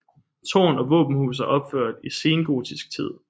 Tårn og våbenhus er opført i sengotisk tid